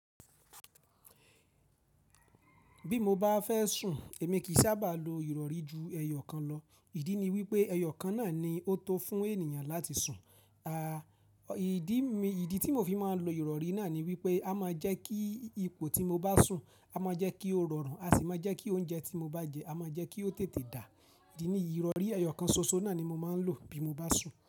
Bí mo bá fẹ́ sùn, èmi kì í sábà lo ìrọ̀rí ju ẹyọ kan lọ. Ìdí ni wípé ẹyọ kan náà ni ó tó fún ènìyàn láti sùn. À, ìdí mi, ìdí tí mo fi máa ń lo ìrọ̀rí náà ni wípé a máa jẹ́ kí ipò tí mo bá sùn, a máa jẹ́ kí ó rọrùn a sì máa jẹ́ kí oúnjẹ tí mo bá jẹ, a máa jẹ́ kí ó tètè dà. Ìdí niyii itọ̀rí ẹyọ kan ṣoṣo náà ni mo máa ń lò bí mo bá sùn.